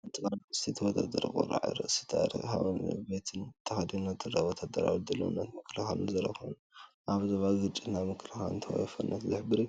ሓንቲ ጓል ኣንስተይቲ ወተሃደር ቁራዕ ርእሲን ታክቲካዊ ቬስትን ተኸዲና ትርአ። ወተሃደራዊ ድልውነትን ምክልኻልን ዘርኢ ኮይኑ፡ ኣብ ዞባ ግጭት ናይ ምክልኻልን ተወፋይነትን ዝሕብር እዩ፡፡